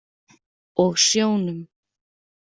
Og sjónum.